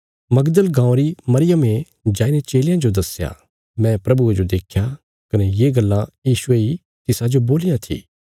मगदल गाँवां री मरियमे जाईने चेलयां जो दस्या मैं प्रभुये जो देख्या कने ये गल्लां यीशुये इ तिसाजो बोलियां थी